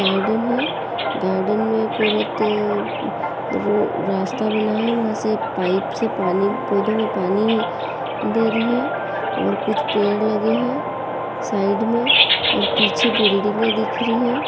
Garden है। Garden में एक औरत रो रास्ता बना है वहाँ से पाइप से पानी पौधों में पानी दे रही हैं और कुछ पेड़ लगे हैं साइड में और पीछे बिल्डिंगे दिख रही है।